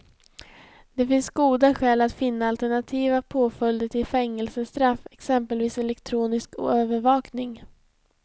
Det finns goda skäl att finna alternativa påföljder till fängelsestraff, exempelvis elektronisk övervakning.